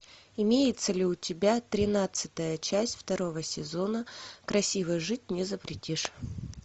имеется ли у тебя тринадцатая часть второго сезона красиво жить не запретишь